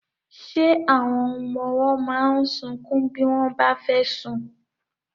Ṣé àwọn ọmọ ọwọ́ máa ń sunkún bí wọ́n bá fẹ́ sùn?